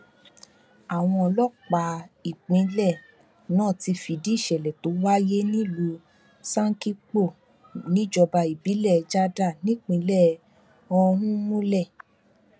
àwọn ọlọpàá ìpínlẹ náà ti fìdí ìsẹlẹ tó wáyé nílùú sànkípò níjọba ìbílẹ jádà nípìnlẹ ọhún múlẹ